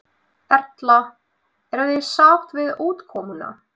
Erla: Eruð þið sátt við útkomuna?